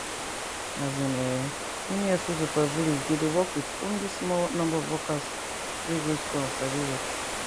as in[um]many hospital for village dey dey work with only small number of workers wey go school and sabi work